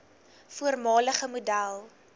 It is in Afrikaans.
voormalige model